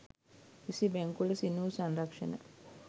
එසේ බැංකුවලට සින්න වූ සංරක්ෂණ